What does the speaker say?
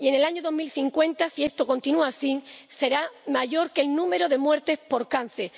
Y en el año 2050, si esto continúa así, será mayor que el número de muertes por cáncer.